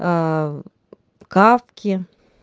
а кафки